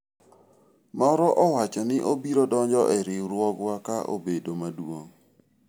moro owacho ni obiro donjo e riwruogwa ka obedo maduong'